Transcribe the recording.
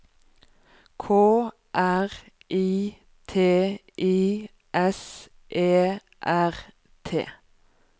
K R I T I S E R T